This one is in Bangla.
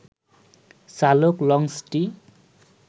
চালক লঞ্চটি